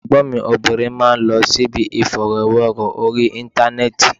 Ẹ̀gbọ́n mi obìnrin máa ń lọ síbi ìfọ̀rọ̀wérọ̀ orí Íńtánẹ́ẹ̀tì.